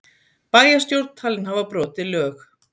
Bæjarstjórn talin hafa brotið lög